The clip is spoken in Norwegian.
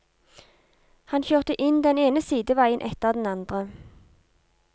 Han kjørte inn den ene sideveien etter den andre.